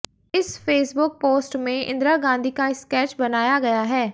इस Facebook post में इंदिरा गांधी का स्केच बनाया गया है